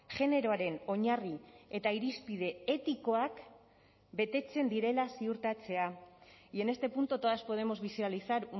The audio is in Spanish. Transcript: generoaren oinarri eta irizpide etikoak betetzen direla ziurtatzea y en este punto todas podemos visualizar